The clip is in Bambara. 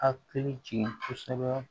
Hakili jigin kosɛbɛ